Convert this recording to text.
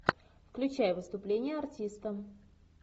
включай выступление артиста